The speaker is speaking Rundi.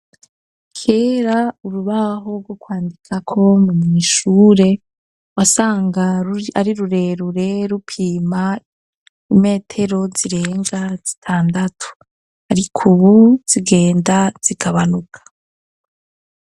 Kera urubaho rwo kwandikako mwishure wasanga ari rurerure rupima imetero zirenga zitandatu arikubu zigenda zigabanuka.